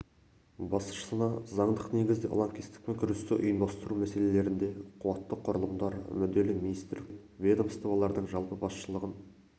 басшысына заңдық негізде лаңкестікпен күресті ұйымдастыру мәселелерінде қуатты құрылымдар мүдделі министрліктер мен ведомстволардың жалпы басшылығын